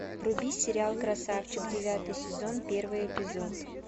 вруби сериал красавчик девятый сезон первый эпизод